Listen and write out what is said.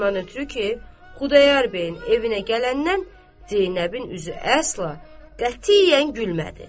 Ondan ötrü ki, Xudayar bəyin evinə gələndən Zeynəbin üzü əsla qətiyyən gülmədi.